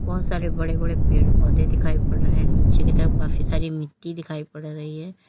बहुत सारे बड़े बड़े पेड़ पौधे दिखाई पड़ रहे हैं नीचे की तरफ काफी सारी मिट्टी दिखाई पड़ रही है।